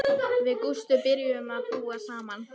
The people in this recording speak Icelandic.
Við Gústi byrjuðum að búa saman.